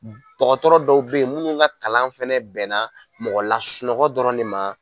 Dɔgɔtɔrɔ dɔw bɛ yen minnu ka kalan fɛnɛ bɛnna mɔgɔ lasunɔgɔ dɔrɔn de ma.